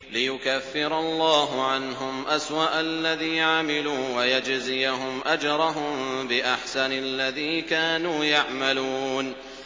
لِيُكَفِّرَ اللَّهُ عَنْهُمْ أَسْوَأَ الَّذِي عَمِلُوا وَيَجْزِيَهُمْ أَجْرَهُم بِأَحْسَنِ الَّذِي كَانُوا يَعْمَلُونَ